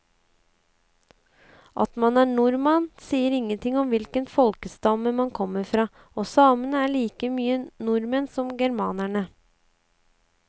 At man er nordmann sier ingenting om hvilken folkestamme man kommer fra, og samene er like mye nordmenn som germanerne.